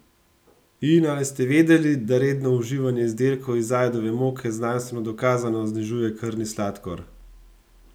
In ali ste vedeli, da redno uživanje izdelkov iz ajdove moke znanstveno dokazano znižuje krvni sladkor?